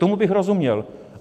Tomu bych rozuměl.